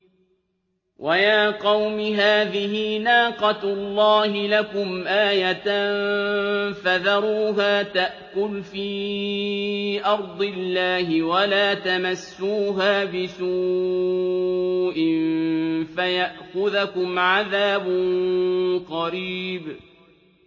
وَيَا قَوْمِ هَٰذِهِ نَاقَةُ اللَّهِ لَكُمْ آيَةً فَذَرُوهَا تَأْكُلْ فِي أَرْضِ اللَّهِ وَلَا تَمَسُّوهَا بِسُوءٍ فَيَأْخُذَكُمْ عَذَابٌ قَرِيبٌ